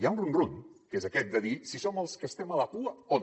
ha un rum rum que és aquest de dir si som els que estem a la cua o no